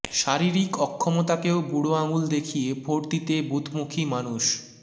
শারীরিক অক্ষমতাকেও বুড়ো আঙুল দেখিয়ে ভোট দিতে বুথমুখী মানুষ